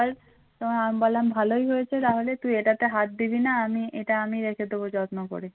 তোমার আমি বললাম ভালোই হয়েছে তাহলে তুই এটাতে হাত দিবি না আমি এটা আমি দেখিয়ে দেবো যত্ন করে